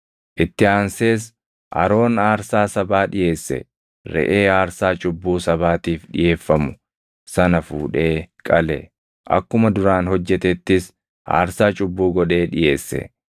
Itti aansees Aroon aarsaa sabaa dhiʼeesse; reʼee aarsaa cubbuu sabaatiif dhiʼeeffamu sana fuudhee qale; akkuma duraan hojjetettis aarsaa cubbuu godhee dhiʼeesse.